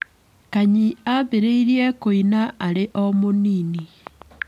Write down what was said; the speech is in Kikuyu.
Kanyi aambĩrĩirie kũina arĩ o mũnini.